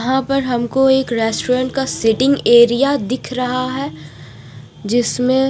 यहाँ पर हमको एक रेस्टोरान्ट का सीटींग एरिया दिख रहा है जिसमे--